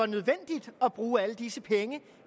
nødvendigt at bruge alle disse penge